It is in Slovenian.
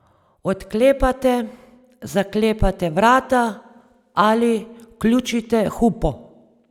Odklepate, zaklepate vrata ali vključite hupo.